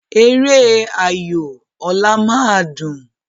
Eré ayò ọ̀la máa dùn.